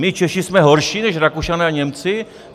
My Češi jsme horší než Rakušané a Němci?